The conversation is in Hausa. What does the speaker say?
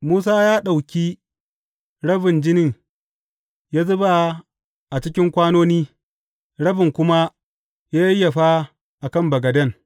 Musa ya ɗauki rabin jinin ya zuba a cikin kwanoni, rabin kuma ya yayyafa a kan bagaden.